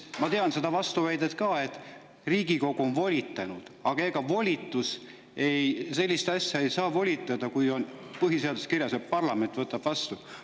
Ma tean seda vastuväidet ka, et Riigikogu on volitanud, aga sellist asja ei saa volitada, kui põhiseaduses on kirjas, et parlament võtab vastu.